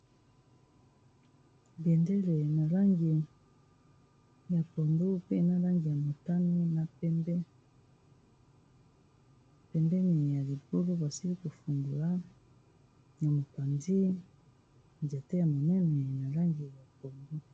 Bendele na langi ya pondu, pe na langi ya motani, na pembe. Pembeni ya libulu basili kofungola na mopanzi nzete ya monene na langi ya pondu.